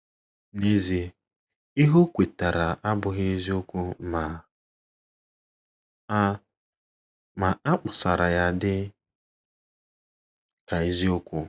N’ezie, ihe o kwetara abụghị eziokwu, ma a, ma a kpọsara ya dị ka eziokwu.